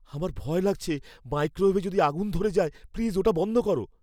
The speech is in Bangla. আমার ভয় লাগছে মাইক্রোওয়েভে যদি আগুন ধরে যায়। প্লিজ ওটা বন্ধ করো।